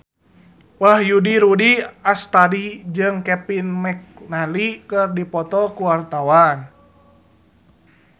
Wahyu Rudi Astadi jeung Kevin McNally keur dipoto ku wartawan